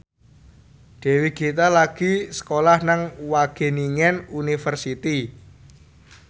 Dewi Gita lagi sekolah nang Wageningen University